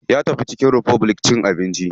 Ya tafi chicken republic cin abinci.